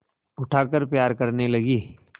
उठाकर प्यार करने लगी